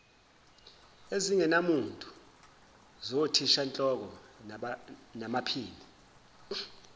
ezingenamuntu zothishanhloko namaphini